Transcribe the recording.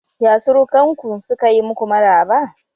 Ya surukanku sukayi muku maraba?